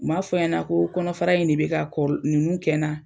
U m'a fɔ ɲɛna koo kɔnɔfara in de bɛ ka kɔl ninnu kɛ na